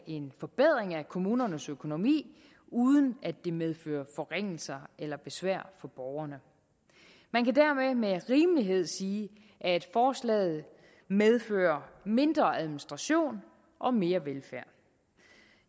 en forbedring af kommunernes økonomi uden at det medfører forringelser eller besvær for borgerne man kan dermed med rimelighed sige at forslaget medfører mindre administration og mere velfærd